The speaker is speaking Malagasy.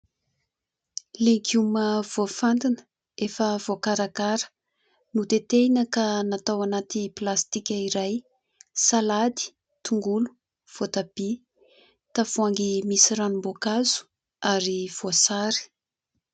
Legioma voafantina efa voakarakara notetehina ka natao anaty plastika iray : salady, tongolo, voatabia, tavoahangy misy ranom-boankazo ary voasary.